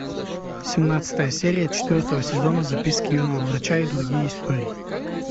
семнадцатая серия четвертого сезона записки юного врача и другие истории